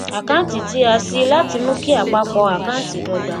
àkàǹtì tí a ṣi láti mú kí àpapọ àkáǹtì dọgba